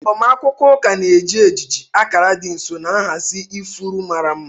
Agbamakwụkwọ ụka na-eji ejiji, akara dị nsọ, na nhazi ifuru mara mma.